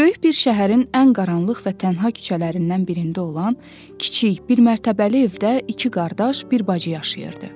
Böyük bir şəhərin ən qaranlıq və tənha küçələrindən birində olan kiçik, bir mərtəbəli evdə iki qardaş, bir bacı yaşayırdı.